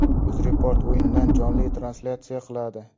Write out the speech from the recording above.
UzReport o‘yindan jonli translyatsiya qiladi.